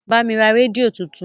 Bá mi ra rédíò tuntun!